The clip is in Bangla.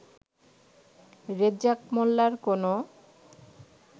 রেজ্জাক মোল্লার কোনও